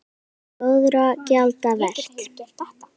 Það er góðra gjalda vert.